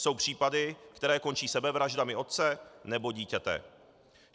Jsou případy, které končí sebevraždami otce nebo dítěte.